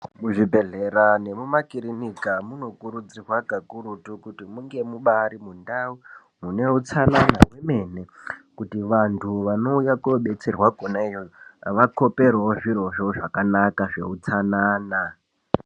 Muzvibhedhlera nemimakirinika, munokurudzirwa kakurutu kuti munge mubaari mundau mune utsanana kwemene. Kuti vanthu vanouya koodetserwa kwona iyoyo vakhoperewo, zvirozvo zvakanaka zveutsanana.